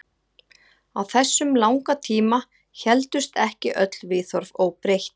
Á þessum langa tíma héldust ekki öll viðhorf óbreytt.